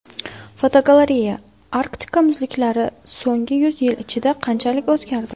Fotogalereya: Arktika muzliklari so‘nggi yuz yil ichida qanchalik o‘zgardi?.